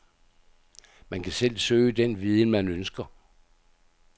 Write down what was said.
Man kan selv søge den viden, man ønsker.